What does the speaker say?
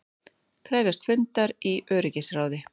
Krefjast fundar í öryggisráði